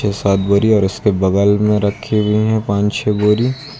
छे-सात बोरी और इसके बगल में रखी हुई हैं पाँच-छे बोरी।